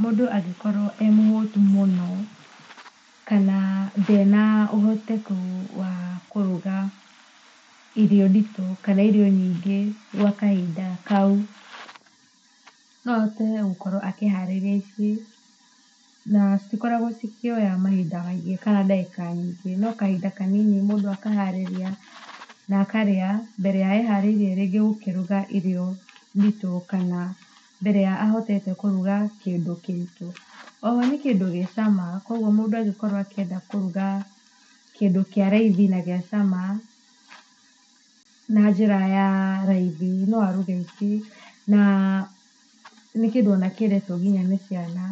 mũndũ angĩkorwo e mũhũtu kana ndarĩ na ũhotekeku wa kũruga irio nditũ kana irio nyingĩ gwa kahinda kau, no ahote gũkorwo akĩharĩria ici na citikoragwo cikĩoya mahinda maingĩ kana ndagĩka nyingĩ no kahinda kanini mũno mũndũ akaharĩria na akarĩa mbere ya aharĩrĩirie kũruga irio nditũ kana mbere ya ahotete kũruga kĩndũ kĩritũ oho nĩ kĩndũ gĩ cama, kwoguo mũndũ angĩenda gũkorwo akĩruga kĩndũ kĩa raithi na gĩa cama na njĩra ya raithi no aruge ici na nĩ kĩndũ kĩendetwo nginya nĩ ciana.